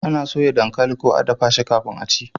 ana soya dankali ko a dafa shi kafin a ci